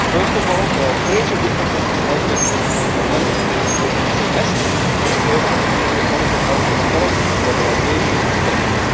First of all, there are major differences in healthcare spending between Member States. The European Semester could serve as a tool to monitor healthcare quality, organisation and spending.